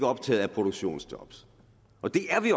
optaget af produktionsjob det er vi